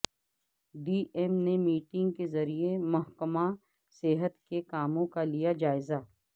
D M نے meeting کے ذریعہ محکمہ صحت کےکاموں کا لیا جائزہ